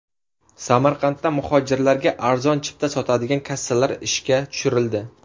Samarqandda muhojirlarga arzon chipta sotadigan kassalar ishga tushirildi.